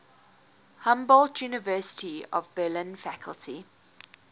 humboldt university of berlin faculty